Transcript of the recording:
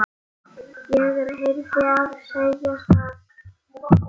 Ég yrði að segja satt.